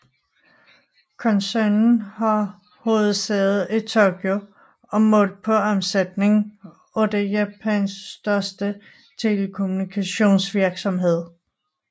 Koncernen har hovedsæde i Tokyo og målt på omsætning er det Japans største telekommunikationsvirksomhed